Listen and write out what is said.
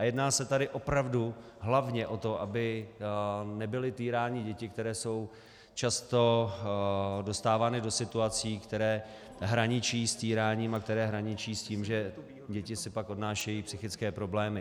A jedná se tady opravdu hlavně o to, aby nebyly týrány děti, které jsou často dostávány do situací, které hraničí s týráním a které hraničí s tím, že děti si pak odnášejí psychické problémy.